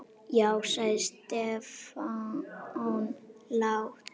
Já sagði Stefán lágt.